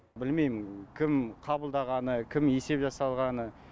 білмеймін кім қабылдағаны кім есеп жасалғаны